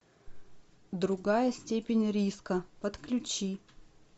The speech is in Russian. другая степень риска подключи